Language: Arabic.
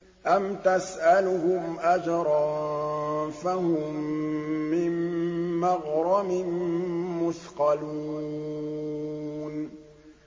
أَمْ تَسْأَلُهُمْ أَجْرًا فَهُم مِّن مَّغْرَمٍ مُّثْقَلُونَ